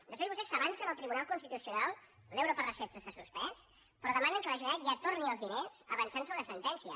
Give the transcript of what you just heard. després vostès s’avancen al tribunal constitucional l’euro per recepta s’ha suspès però demanen que la generalitat ja torni els diners avançant·se a una sen·tència